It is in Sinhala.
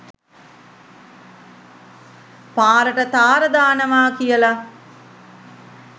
පාරට තාර දානවා කියලා.